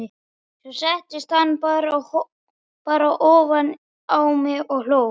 Svo settist hann bara ofan á mig og hló.